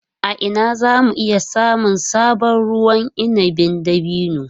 A ina za mu iya samun sabon ruwan inabin dabino?